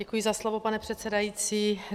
Děkuji za slovo, pane předsedající.